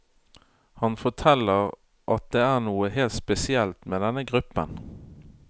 Han forteller at det er noe helt spesielt med denne gruppen.